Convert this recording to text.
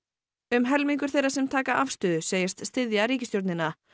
um helmingur þeirra sem taka afstöðu segist styðja ríkisstjórnina